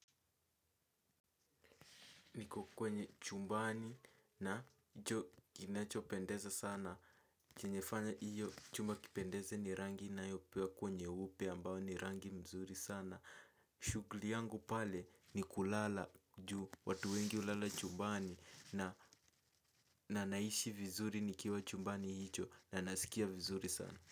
Niko kwenye chumbani na hicho kinachopendeza sana. Kinyefanya hiyo chumba kipendeze ni rangi inayopakwa nyeupe ambayo ni rangi mzuri sana. Shughli yangu pale ni kulala juu watu wengi hulala chumbani na na naishi vizuri nikiwa chumbani hicho na nasikia vizuri sana.